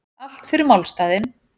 Allt fyrir málstaðinn